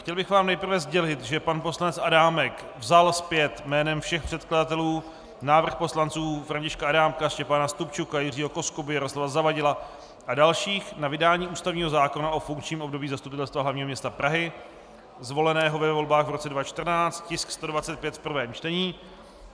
Chtěl bych vám nejprve sdělit, že pan poslanec Adámek vzal zpět jménem všech předkladatelů návrh poslanců Františka Adámka, Štěpána Stupčuka, Jiřího Koskuby, Jaroslava Zavadila a dalších na vydání ústavního zákona o funkčním období Zastupitelstva hlavního města Prahy zvoleného ve volbách v roce 2014, tisk 125 v prvém čtení.